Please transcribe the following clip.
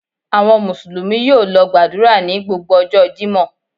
Àwọn Mùsùlùmí yóò lọ gbàdúrà ní gbogbo ọjọ́ Jímọ̀.